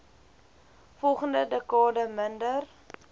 volgende dekade minder